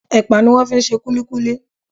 Ẹpa ni wón fi ń ṣe kulikuli.